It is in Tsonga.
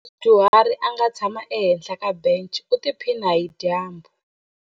Ku na mudyuhari a nga tshama ehenhla ka bence u tiphina hi dyambu.